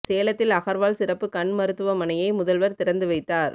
சேலத்தில் அகர்வால் சிறப்பு கண் மருத்துவமனையை முதல்வர் திறந்து வைத்தார்